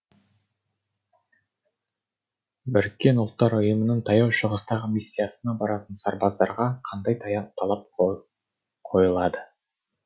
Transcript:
біріккен ұлттар ұйымының таяу шығыстағы миссиясына баратын сарбаздарға қандай талап қойылады